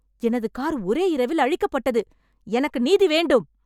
எனது கார் ஒரே இரவில் அழிக்கப்பட்டது, எனக்கு நீதி வேண்டும்!